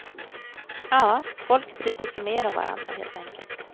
Ja, folk brydde sig mera om varandra helt enkelt.